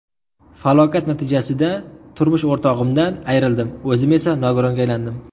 Falokat natijasida turmush o‘rtog‘imdan ayrildim, o‘zim esa nogironga aylandim.